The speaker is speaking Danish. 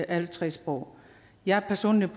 alle tre sprog jeg personligt